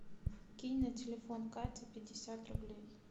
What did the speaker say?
кинь на телефон кати пятьдесят рублей